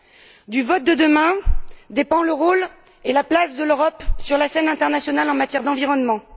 C'est du vote de demain que dépendent le rôle et la place de l'Europe sur la scène internationale en matière d'environnement.